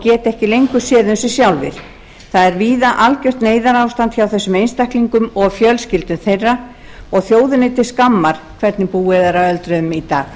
geta ekki lengur séð um sjálfir það er víða algjört neyðarástand hjá þessum einstaklingum og fjölskyldum þeirra og þjóðinni til skammar hvernig búið er að öldruðum í dag